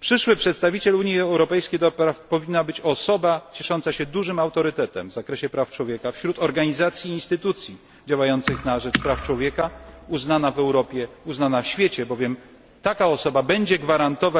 Przyszłym przedstawicielem Unii Europejskiej powinna być osoba ciesząca się dużym autorytetem w zakresie praw człowieka wśród organizacji i instytucji działających na rzecz praw człowieka, uznana w Europie, uznana w świecie, bowiem taka osoba zagwarantuje